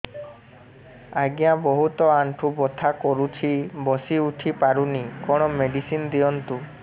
ଆଜ୍ଞା ବହୁତ ଆଣ୍ଠୁ ବଥା କରୁଛି ବସି ଉଠି ପାରୁନି କଣ ମେଡ଼ିସିନ ଦିଅନ୍ତୁ